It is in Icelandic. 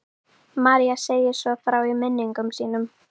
María segir svo frá í minningum sínum: